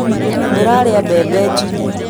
Ndĩrarĩa mbembe njine